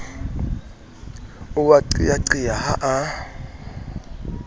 o a qeaqea ha a